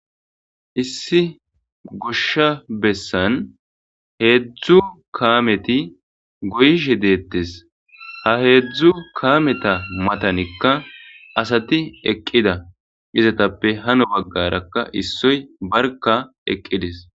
Issi gosha besan hezhzhu kameti goyishe dettes. Ha hezhehu kameta matnika asati eqida izetappe hani bagaraka issoy barka eqides.